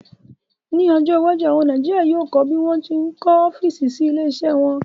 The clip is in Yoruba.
Ní ọjọ́ iwájú, àwọn Nàìjíríà yóò kọ́ bí wón ṣe ń kọ́ ọ́físì sí ilé iṣẹ́ wọn